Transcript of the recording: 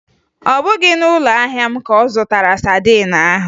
Ọ bụghị na ụlọahịa m ka ọ zụtara sadin ahụ